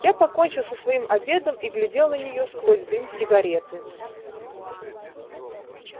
я покончил со своим обедом и глядел на неё сквозь дым сигареты